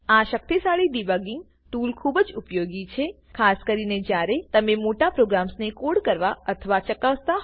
આ શક્તિશાળી debugging tool ખૂબ જ ઉપયોગી છે ખાસ કરીને જ્યારે તમે મોટા પ્રોગ્રામ્સને કોડ કકરવા અથવા ચકાસતા હોવ